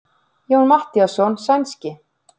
Jón Matthíasson sænski.